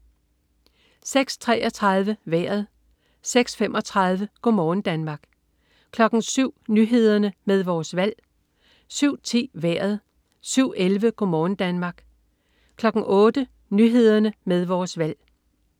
06.33 Vejret 06.35 Go' morgen Danmark 07.00 Nyhederne med Vores Valg 07.10 Vejret 07.11 Go' morgen Danmark 08.00 Nyhederne med Vores Valg